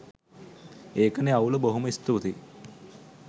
ඒකනෙ අවුල බොහොම ස්තූතියි